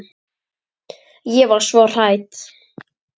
Ég var svo hrædd.